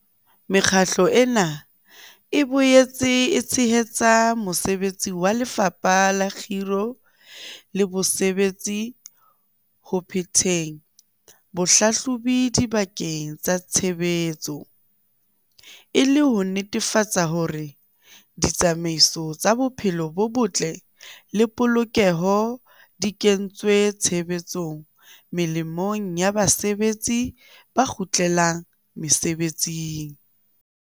Mekgatlo ena e boetse e tshehetsa mosebetsi wa Lefapha la Kgiro le Bosebetsi ho phetheng bohlahlobi dibakeng tsa tshebetso, e le ho netefatsa hore ditsamaiso tsa bophelo bo botle le polokeho di kentswe tshebetsong molemong wa basebetsi ba kgutlelang mesebetsing.